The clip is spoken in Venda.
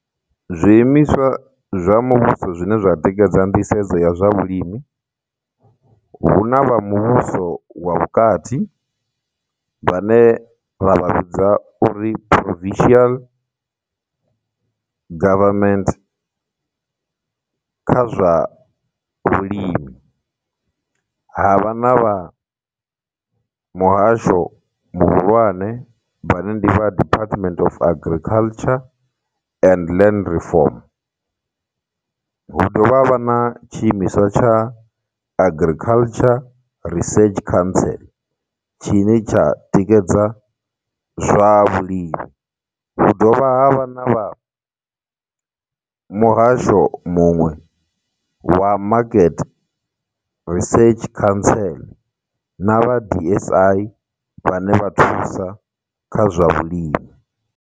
Zwiimiswa zwa muvhuso zwine zwa tikedza nḓisedzo ya zwa vhulimi. Hu na vha muvhuso wa vhukati vhane ra vha vhidza uri Provincial Government kha zwa vhulimi, havha na vha muhasho muhulwane vhane ndi vha Department of Agriculture and Land Reform. Hu dovha havha na tshiimiswa tsha Agriculture Research Council tshine tsha tikedza zwavhulimi. Hu dovha ha vha na muhasho muṅwe wa Market Research Council, na vha D_S_I vhane vha thusa kha zwa vhulimi.